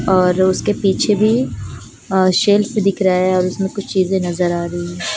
और उसके पीछे भी अ सेल्फ दिख रहा है और उसमें कुछ चीजे नजर आ रही--